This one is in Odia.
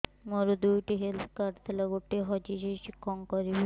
ମୋର ଦୁଇଟି ହେଲ୍ଥ କାର୍ଡ ଥିଲା ଗୋଟିଏ ହଜି ଯାଇଛି କଣ କରିବି